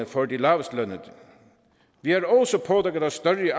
for de lavestlønnede vi har